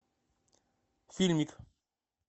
фильмик